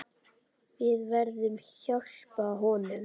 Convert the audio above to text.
Við verðum hjálpa honum.